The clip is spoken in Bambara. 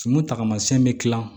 Kunun taamasiyɛn bɛ dilan